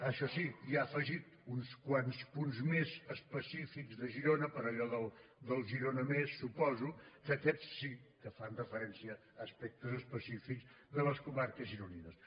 això sí hi ha afegit uns quants punts més específics de girona per allò del girona més suposo que aquests sí que fan referència a aspectes específics de les comarques gironines